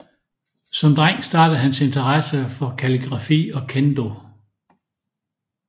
Som dreng startede hans interesse for kalligrafi og Kendo